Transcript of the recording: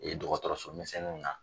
E dɔgɔtɔrɔso sisɛnninw na